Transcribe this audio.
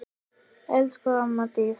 Elsku amma Dísa.